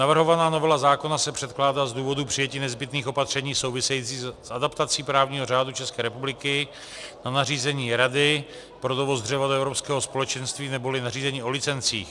Navrhovaná novela zákona se předkládá z důvodu přijetí nezbytných opatření souvisejících s adaptací právního řádu České republiky na nařízení Rady pro dovoz dřeva do Evropského společenství neboli nařízení o licencích.